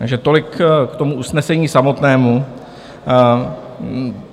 Takže tolik k tomu usnesení samotnému.